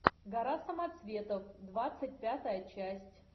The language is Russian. гора самоцветов двадцать пятая часть